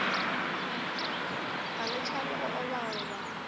ga le tšhabe go obaoba